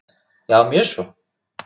Já, mjög svo.